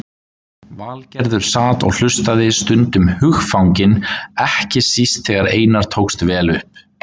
Valgerður sat og hlustaði, stundum hugfangin, ekki síst þegar Einari tókst vel upp.